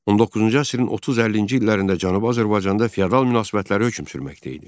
19-cu əsrin 30-50-ci illərində Cənubi Azərbaycanda feodal münasibətləri hökm sürməkdə idi.